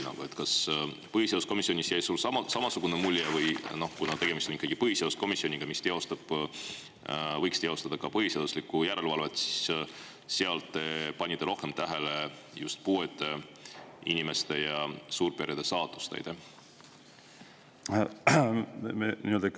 Kas sulle jäi põhiseaduskomisjonis samasugune mulje või kuna tegemist on ikkagi põhiseaduskomisjoniga, kes võiks teostada ka põhiseaduslikkuse järelevalvet, siis kas te seal panite rohkem rõhku just puuetega inimeste ja suurperede saatusele?